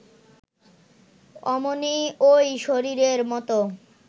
অমনি ওই শরীরের মতো